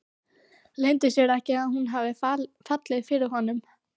Leyndi sér ekki að hún hafði fallið fyrir honum.